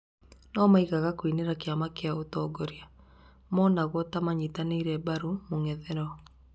no mangĩaga kũinĩra kĩama kĩria kĩratongoria, maronwo ta maranyita mbarũ mũng'ethanĩro